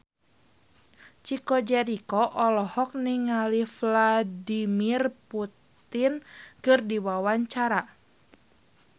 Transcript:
Chico Jericho olohok ningali Vladimir Putin keur diwawancara